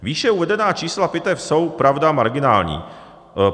Výše uvedená čísla pitev jsou, pravda, marginální.